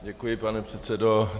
Děkuji, pane předsedo.